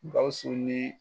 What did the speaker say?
Gawusu ni